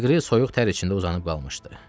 Leqri soyuq tər içində uzanıb qalmışdı.